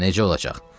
Necə olacaq?